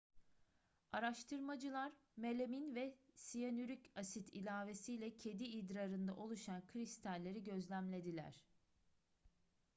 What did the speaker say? araştırmacılar melamin ve siyanürik asit ilavesiyle kedi idrarında oluşan kristalleri gözlemlediler